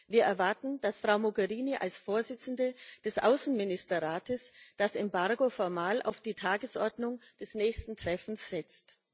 Wir erwarten, dass Frau Mogherini als Vorsitzende des Außenministerrates das Embargo formal auf die Tagesordnung des nächsten Treffens setzt.